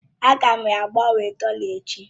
Aga m agbanwe dọla echi.